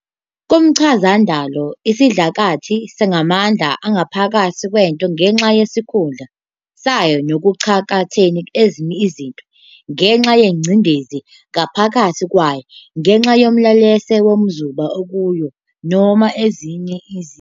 Kumchazandalo, isidlakathi singamandla angaphakathi kwento ngenxa yesikhundla sayo ngokucakathene nezinye izinto, ngenxa yezingcindezi ngaphakathi kwayo, ngenxa yomlelesa wamazuba akuyo, noma ezinye izici.